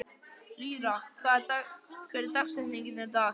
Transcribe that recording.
Lýra, hver er dagsetningin í dag?